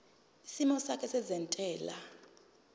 isimo sakho sezentela